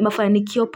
mafanikio.